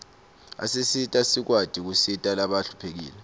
asisita sikwati kusita labahluphekile